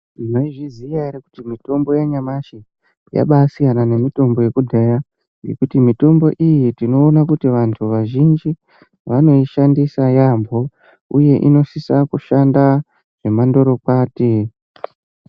Maizviziva here kuti mitombo yanyamashi yabai siyana nemitombo yekudhaya nekuti mitombo iyi tinoona kuti vantu vazhinji vanoishandisa yaambo uye inosisa kushanda zvemandorokwati.